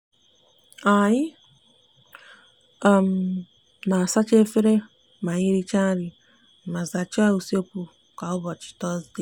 anyi n'asacha efere ma anyi richa nri ma zacha usekwu kwa ubochi tozde.